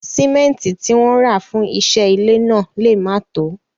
Símẹ́ntì tí wọ́n rà fún iṣẹ́ ilé náà lè má tòó.